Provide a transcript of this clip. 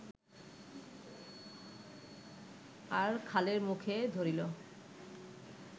আর খালের মুখে ধরিল